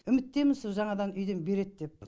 үміттеміз сол жаңадан үйден береді деп